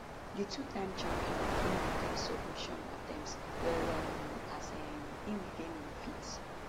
di twotime champion begin to defend submission attempts well um as um im regain im feet